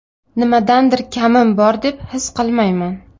Nimadandir kamim bor deb his qilmayman.